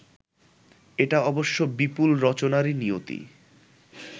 এটা অবশ্য বিপুল রচনারই নিয়তি